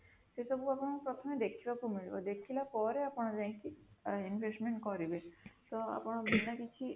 ସେସବୁ ଆପଣଙ୍କୁ ପ୍ରଥମେ ଦେଖିବାକୁ ମିଳିବ ଦେଖିଲା ପରେ ଆପଣ ଯାଇକି investment କରିବେ ତ ଆପଣ ବିନା କିଛି